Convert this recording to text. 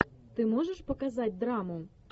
ты можешь показать драму